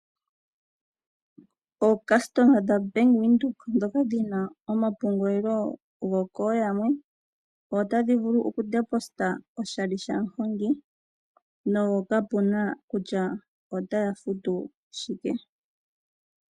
Oocustoma dha bank windhoek ndhoka dhina omapungulilo gokooyalwe otadhi vulu oku deposta oshali shamuhongi nokapuna kutya otaya futu shike.